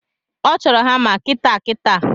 Ọ chọro hama kitaakitaa